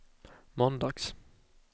måndags